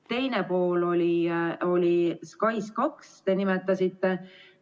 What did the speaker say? Teine pool oli SKAIS2, mida te nimetasite.